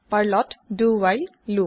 পাৰ্লত do while loop